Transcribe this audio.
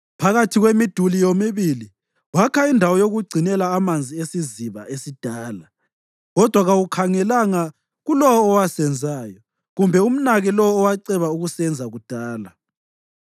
Phakathi kwemiduli yomibili wakha indawo yokugcinela amanzi eSiziba esiDala. Kodwa kawukhangelanga kuLowo owasenzayo, kumbe umnake Lowo owaceba ukusenza kudala.